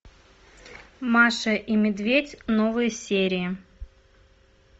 маша и медведь новые серии